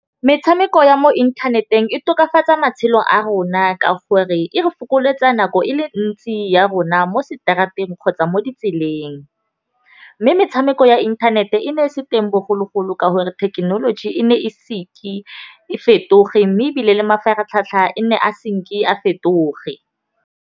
Metshameko ya mo inthaneteng e tokafatsa matshelo a rona. Ka gore e re fokoletsa nako e le ntsi ya rona mo seterateng kgotsa mo ditseleng. Mme metshameko ya inthanete e ne e se teng bogologolo ka gore thekenoloji e ne e e fetoge mme ebile le mafaratlhatlha e nne a a fetoge.